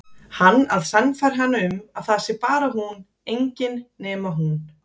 Hann að sannfæra hana um að það sé bara hún, engin nema hún.